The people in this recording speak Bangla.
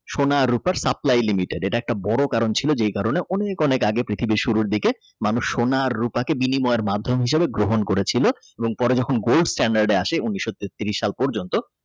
সোনা রুপার Supply Limited এটা একটা বড় কারণ ছিল যে কারণে অনেক অনেক পৃথিবীর শুরু থেকে মানুষ সোনা রুপা কে বিনিমায়ের মাধ্যমে গ্রহণ করেছিল পরে যখন Gōla sṭyānḍārḍē আসে উনিশ তেত্রিশ সাল পর্যন্ত।